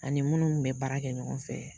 Ani munnu kun bɛ baara kɛ ɲɔgɔn fɛ.